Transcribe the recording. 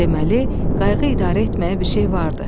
Deməli qayığı idarə etməyə bir şey vardı.